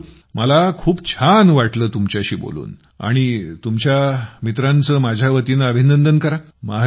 मयूर मला खूप छान वाटलं तुमच्याशी बोलून आणि तुमच्या मित्रांचे माझ्या वतीनं अभिनंदन करा